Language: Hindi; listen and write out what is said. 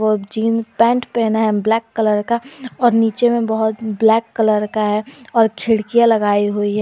और जींस पैंट पहना है ब्लैक कलर का और नीचे में बहुत ब्लैक कलर का है और खिड़कियां लगाई हुई है।